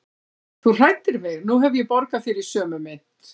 Þú hræddir mig og nú hef ég borgað þér í sömu mynt.